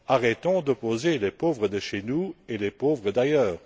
Arrêtons d'opposer les pauvres de chez nous et les pauvres d'ailleurs!